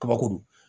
Kabakuru